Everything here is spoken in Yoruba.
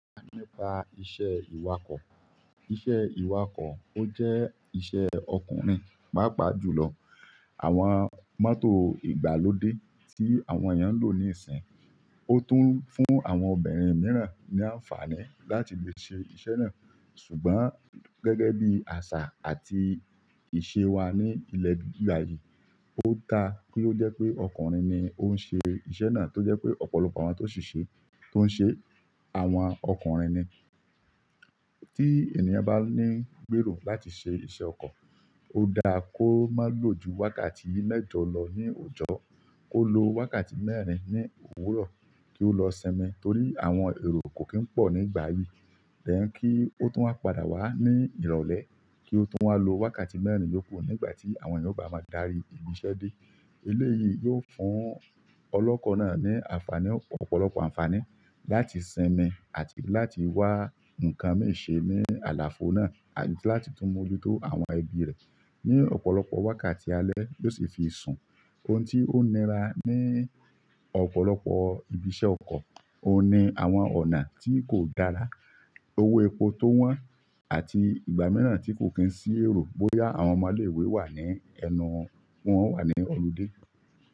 Nípa iṣẹ́ ìwakọ̀, iṣẹ́ ìwakọ̀ ó jẹ́ iṣẹ́ ọkùnrin pàápàá jùlọ. Àwọn mọ́tò ìgbàlódé tí àwọn èèyàn ń lò níìsín, ó tún fún àwọn obìnrin mìíràn ní àǹfààní láti lè ṣe iṣẹ́ náà. Ṣùgbọ́n gẹ́gẹ́ bí àṣà àti ìṣe wa ní ilẹ̀ ìgbà yìí, ó da kí ó jẹ́ pé ọkùnrin ni ó ń ṣe iṣẹ́ náà tó jẹ́ pé ọ̀pọ̀lọpọ̀ àwọn tó ṣi-ṣe tó ń ṣe, àwọn ọkùnrin ni. Tí èèyàn bá ní gbèrò láti ṣe iṣẹ́ ọkọ̀, ó dáa kó má lò ju wákàtí mẹ́jọ̀ lọ ní òjò, kó lo wákàtí mẹ́rin ní òwúrọ̀ kí ó lọ sinmi torí àwọn èrò kò kín pọ̀ nígbà yìí. Then, kí ó tún á padà wá ní ìrọ̀lẹ́ kí ó tún wá lo wákàtí mẹ́rin yòókù nígbà tí àwọn èèyàn ó bá máa darí ibi iṣẹ́ dé. Elé yìí yóò fún ọlọ́kọ̀ náà ní àǹfààní, ọ̀pọ̀lọpọ̀ àǹfààní láti sinmi àti láti wá ǹkan mìíràn ṣe ní àlàfo náà àti láti tún mójútó àwọn ẹbí rẹ̀. Ní ọ̀pọ̀lọpọ̀ wákàtí alẹ́ yóò sì fi sùn. Ohun tí ó nira ní ọ̀pọ̀lọpọ̀ ibi iṣẹ́ ọkọ̀, òun ni àwọn ọ̀nà tí kò dára, owó epo tó wọ́n àti ìgbà mìíràn tí kò kín sí èrò bóyá àwọn ọmọléwé wà ní ẹnu wọn wà ní ọludé.